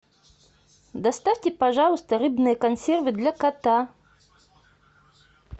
доставьте пожалуйста рыбные консервы для кота